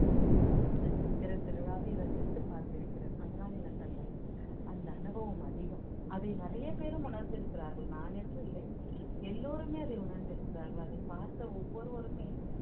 இந்த சித்திரை திருவிழாவை ரசித்து பார்த்திருக்கிறேன் அதனால் எனக்கு அந்த அந்த அனுபவம் அதிகம் அதை நிறைய பேரும் உணர்ந்திருக்கிறார்கள் நான் என்று இல்லை எல்லாருமே அதை உணர்ந்திருக்கிறார்கள் அதைப் பார்த்த ஒவ்வொருவருமே